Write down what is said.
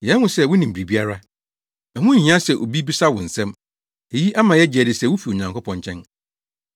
Yɛahu sɛ wunim biribiara; ɛho nhia sɛ obi bisa wo nsɛm. Eyi ama yɛagye adi sɛ wufi Onyankopɔn nkyɛn.”